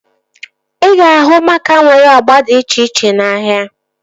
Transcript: Ị ga-ahụ maaka nwere agba dị iche iche n'ahia